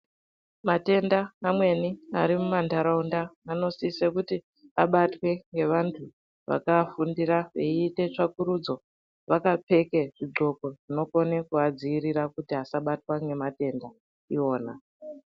Matenda amweni ari mumandaraunda anosise kuti abatwe ngevantu vakagundira vaite tsvakurudzo vakapfeke zvigqoko zvinogona kuvadzivirira kuri asbatiwa nematenda iwona.